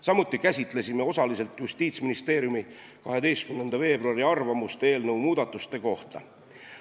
Samuti käsitlesime osaliselt Justiitsministeeriumi 12. veebruari arvamust eelnõu muudatuste kohta.